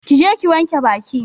Ki je ki wanke Baki!